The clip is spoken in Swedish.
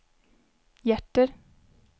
hjärter